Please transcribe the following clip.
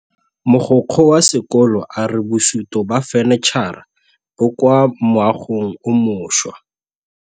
Mogokgo wa sekolo a re bosutô ba fanitšhara bo kwa moagong o mošwa.